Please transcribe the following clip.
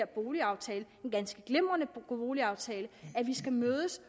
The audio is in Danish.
boligaftalen en ganske glimrende boligaftale at vi skal mødes